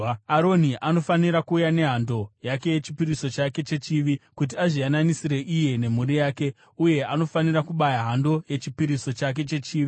“Aroni anofanira kuuya nehando yake yechipiriso chake chechivi, kuti azviyananisire iye nemhuri yake, uye anofanira kubaya hando yechipiriso chake chechivi.